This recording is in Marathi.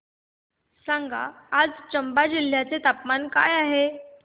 सांगा आज चंबा जिल्ह्याचे तापमान काय आहे